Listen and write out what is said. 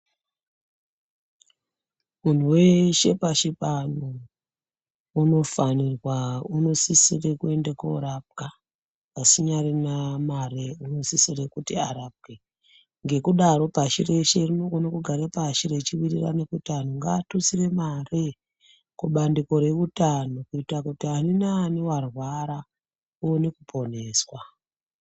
Munhu weshe pashi pano unofanirwa unosisire kuende korapwa asinyarina mare unosisire kuti arapwe. Ngekudaro pashi reshe rinokone kugara pashi rechiwirirane kuti anhu ngaatutsire mare kubandiko reutano kuitakuti aninani warwara oone kuponeswa.